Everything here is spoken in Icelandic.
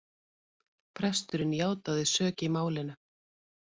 Presturinn játaði sök í málinu